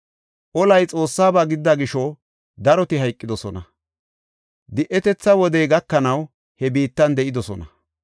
Olay Xoossaba gidida gisho daroti hayqidosona. Di7etetha wodey gakanaw he biittan de7idosona.